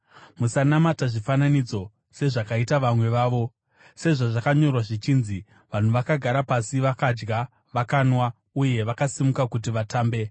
Musanamata zvifananidzo, sezvakaita vamwe vavo; sezvazvakanyorwa zvichinzi: “Vanhu vakagara pasi vakadya, vakanwa, uye vakasimuka kuti vatambe.”